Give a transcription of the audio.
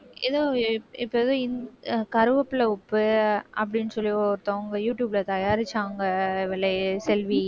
ஏதோ இப்~ இப்ப ஏதோ இந்~ கறிவேப்பிலை உப்பு அப்படின்னு சொல்லி ஒருத்தவங்க யூடுயூப்ல தயாரிச்சாங்க இவளே செல்வி